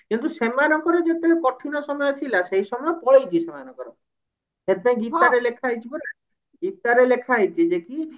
କିନ୍ତୁ ସେମାନଙ୍କର ଯେତେବେଳେ କଠିନ ସମୟ ଥିଲା ସେଇ ସମୟ ପଳେଇଛି ସେମାନଙ୍କର ସେଇପାଇଁ ଗୀତା ରେ ଲେଖାହେଇଛି ପରା ଗୀତା ରେ ଲେଖାହେଇଛି ଯେ କି